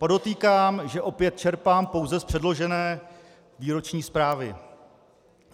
Podotýkám, že opět čerpám pouze z předložené výroční zprávy.